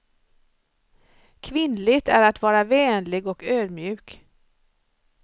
Kvinnligt är att vara vänlig och ödmjuk.